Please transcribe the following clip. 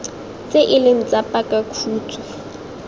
tse e leng tsa pakakhutshwe